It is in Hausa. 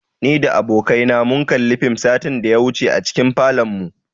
Ni da abokai na mun kalli fim satin da ya wuce a cikin falonmu.